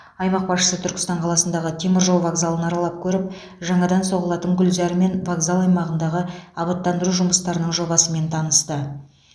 аймақ басшысы түркістан қаласындағы теміржол вокзалын аралап көріп жаңадан соғылатын гүлзар мен вокзал аймағындағы абаттандыру жұмыстарының жобасымен танысты